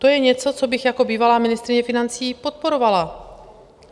To je něco, co bych jako bývalá ministryně financí podporovala.